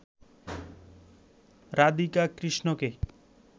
রাধিকা কৃষ্ণকে